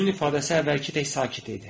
Üzünün ifadəsi əvvəlki tək sakit idi.